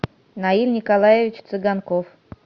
наиль николаевич цыганков